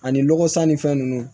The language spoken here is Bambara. Ani lɔgɔ san ni fɛn nunnu